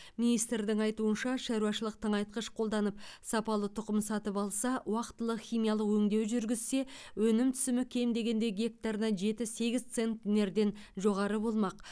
министрдің айтуынша шаруашылық тыңайтқыш қолданып сапалы тұқым сатып алса уақтылы химиялық өңдеу жүргізсе өнім түсімі кем дегенде гектарына жеті сегіз центнерден жоғары болмақ